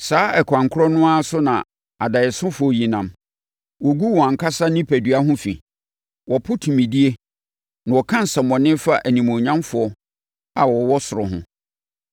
Saa ɛkwan korɔ no ara so na adaeɛsofoɔ yi nam. Wogu wɔn ankasa onipadua ho fi. Wɔpo tumidie, na wɔka nsɛmmɔne fa animuonyamfoɔ a wɔwɔ ɔsoro ho.